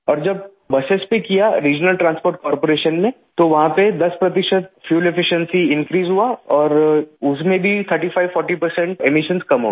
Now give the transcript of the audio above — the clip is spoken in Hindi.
और जब बसों पे किया रिजनल ट्रांसपोर्ट कार्पोरेशन ने तो वहाँ पे 10 प्रतिशत फ्यूएल एफिशिएंसी इनक्रीज हुआ और उसमें भी 3540 परसेंट एमिशन कम हो गया